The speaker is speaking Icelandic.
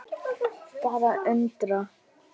Bara undrun.